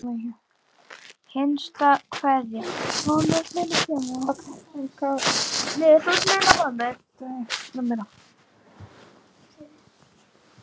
Hinsta kveðja.